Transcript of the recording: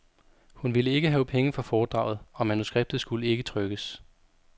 Hun ville ikke have penge for foredraget, og manuskriptet skulle ikke trykkes.